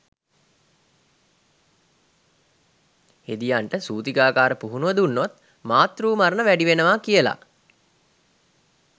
හෙදියන්ට සූතිකාගාර පුහුණුව දුන්නොත් මාතෘ මරණ වැඩි වෙනවා කියලා